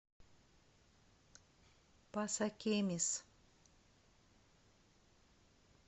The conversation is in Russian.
пасакемис